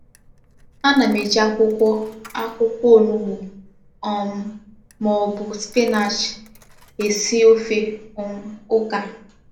A na-eji akwụkwọ akwụkwọ ọ̀nùgbu um ma ọ bụ spinach e esi ofe um ụ́ká.